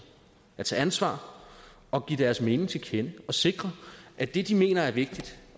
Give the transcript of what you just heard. og tage ansvar og give deres mening til kende og sikre at det de mener er vigtigt